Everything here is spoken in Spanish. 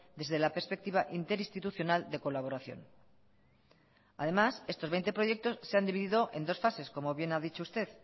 desde la perspectiva interinstitucional de colaboración además estos veinte proyectos se han dividido en dos fases como bien ha dicho usted